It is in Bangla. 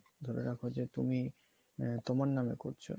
ধরে রাখো যে তুমি তোমার নাম করছো